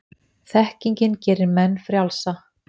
Þekkingin gerir menn frjálsa.